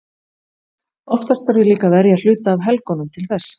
Oftast þarf ég líka að verja hluta af helgunum til þess.